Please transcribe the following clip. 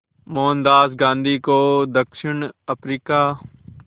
मोहनदास गांधी को दक्षिण अफ्रीका